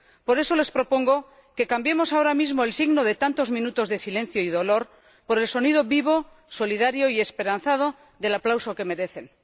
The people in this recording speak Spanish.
Por eso, les propongo que cambiemos ahora mismo el signo de tantos minutos de silencio y dolor por el sonido vivo, solidario y esperanzado del aplauso que merecen.